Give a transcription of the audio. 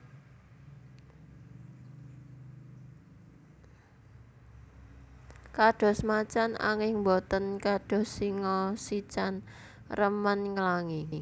Kados macan anging boten kados singa sican remen nglangi